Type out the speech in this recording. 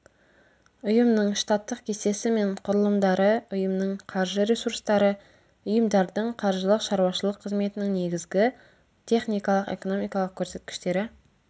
ұйымның штаттық кестесі мен құрылымдары ұйымның қаржы ресурстары ұйымдардың қаржылық шаруашылық қызметінің негізгі техникалық экономикалық көрсеткіштері